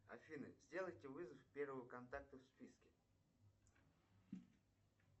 афина сделайте вызов первого контакта в списке